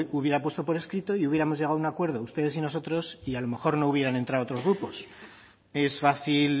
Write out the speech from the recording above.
hubiera puesto por escrito y hubiéramos llegado a un acuerdo ustedes y nosotros y a lo mejor no hubieran entrado otros grupos es fácil